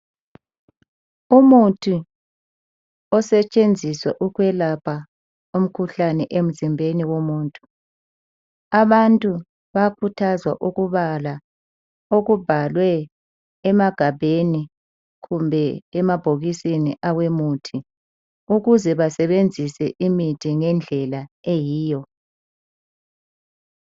Umuthi osetshenziswa okwelapha umkhuhlane emzimbeni womuntu abantu bayakhuthazwa ukubala okubhalwe emagabheni kumbe emabhokisini awemuthi ukuze basebenzise imithi ngendlela eyiyo